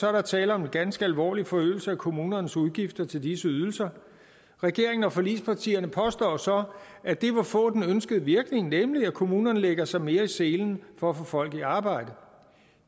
er der tale om en ganske alvorlig forøgelse af kommunernes udgifter til disse ydelser regeringen og forligspartierne påstår så at det vil få den ønskede virkning nemlig at kommunerne lægger sig mere i selen for at få folk i arbejde